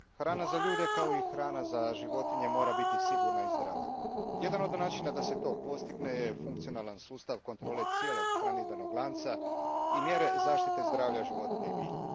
Hvala gospođo predsjednice, hrana za ljude, kao i hrana za životinje mora biti sigurna i zdrava. Jedan od načina da se to postigne funkcionalan je sustav kontrole cijelog hranidbenog lanca i mjere zaštite zdravlja životinja i bilja.